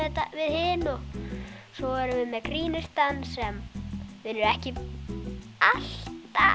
þetta svo erum við með grínistann sem er ekki alltaf